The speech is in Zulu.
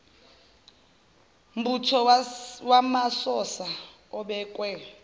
mbutho wamasosha obekwe